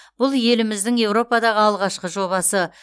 бұл еліміздің еуропадағы алғашқы жобасы